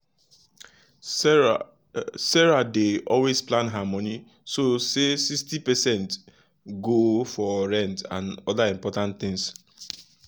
sarah sarah dey always plan her money so say 60 percent go for rent and other important things.